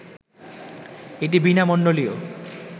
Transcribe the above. এটি বীণামণ্ডলীয়